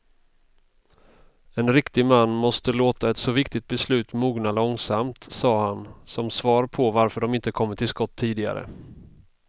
En riktig man måste låta ett så viktigt beslut mogna långsamt, sade han som svar på varför de inte kommit till skott tidigare.